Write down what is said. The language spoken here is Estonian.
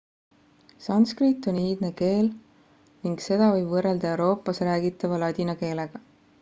sanskrit on iidne keel ning seda võib võrrelda euroopas räägitava ladina keelega